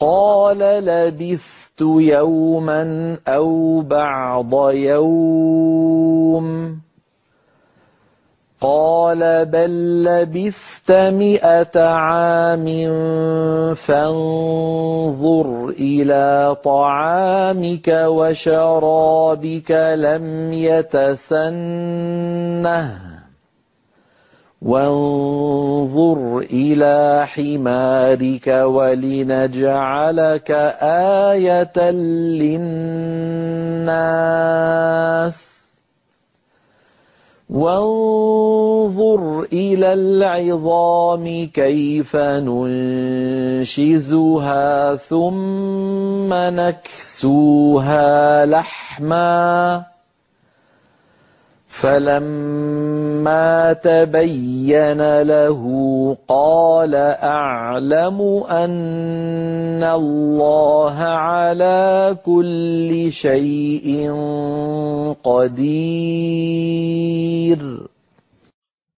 قَالَ لَبِثْتُ يَوْمًا أَوْ بَعْضَ يَوْمٍ ۖ قَالَ بَل لَّبِثْتَ مِائَةَ عَامٍ فَانظُرْ إِلَىٰ طَعَامِكَ وَشَرَابِكَ لَمْ يَتَسَنَّهْ ۖ وَانظُرْ إِلَىٰ حِمَارِكَ وَلِنَجْعَلَكَ آيَةً لِّلنَّاسِ ۖ وَانظُرْ إِلَى الْعِظَامِ كَيْفَ نُنشِزُهَا ثُمَّ نَكْسُوهَا لَحْمًا ۚ فَلَمَّا تَبَيَّنَ لَهُ قَالَ أَعْلَمُ أَنَّ اللَّهَ عَلَىٰ كُلِّ شَيْءٍ قَدِيرٌ